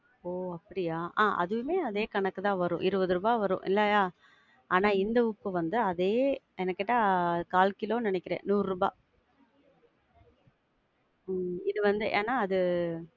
ஒ அப்படியா? ஆஹ் அதுவே அதே கணக்கு தான் வரும், இருபது ருபாய் வரும். இல்லையா? ஆனா இந்த உப்பு வந்து அதே எனக்கேட்டா, கால் கிலோன்னு நெனைக்கிறேன், நூறு ரூபா. உம் இது வந்து, ஏனா அது~